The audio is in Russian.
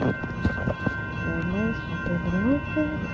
я знаю что ты дрочишь